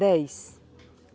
Dez.